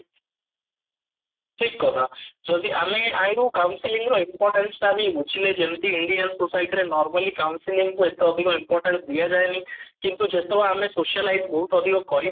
ଠିକ କଥା ଯଦି ଆମେ କମ feelings ର ବି ଯଦି importance ଟା ବି ବୁଝିଲେ ଯେମିତି indian society ରେ ଯେମିତି normally council କୁ ଏତେ ଅଧିକ importance ଦିଆଯାଏନି କିନ୍ତୁ ଯେତେବଳେ ଆମେ socialise ବହୁତ ଅଧିକ କରିପାରି